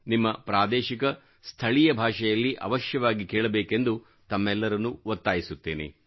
ನಿಮ್ಮ ಪ್ರಾದೇಶಿಕ ಸ್ಥಳೀಯ ಭಾಷೆಯಲ್ಲಿ ಅವಶ್ಯವಾಗಿ ಕೇಳಬೇಕೆಂದು ತಮ್ಮೆಲ್ಲರನ್ನು ಒತ್ತಾಯಿಸುತ್ತೇನೆ